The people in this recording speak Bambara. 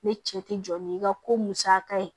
Ne cɛ tɛ jɔ ni ŋa ko musaka ye